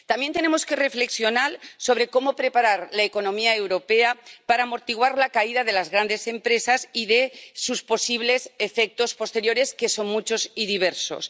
También tenemos que reflexionar sobre cómo preparar la economía europea para amortiguar la caída de las grandes empresas y sus posibles efectos posteriores, que son muchos y diversos.